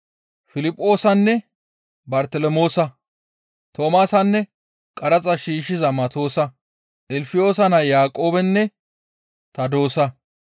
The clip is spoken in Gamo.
Piliphoosanne Bartelemoosa, Toomaasanne qaraxa shiishshiza Matoosa, Ilfiyoosa naa Yaaqoobenne Tadoosa,